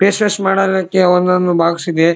Face wash ಮಾಡೊದಕ್ಕೆ ಒಂದೊಂದು box ಇದೆ.